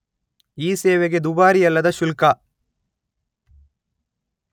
ಈ ಸೇವೆಗೆ ದುಬಾರಿಯಲ್ಲದ ಶುಲ್ಕ.